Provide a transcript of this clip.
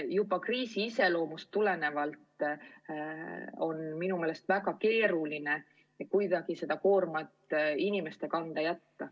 Juba kriisi iseloomust tulenevalt on minu meelest väga vale jätta see koorem kuidagi inimeste kanda.